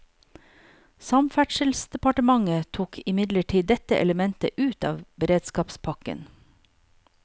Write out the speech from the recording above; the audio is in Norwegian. Samferdselsdepartementet tok imidlertid dette elementet ut av beredskapspakken.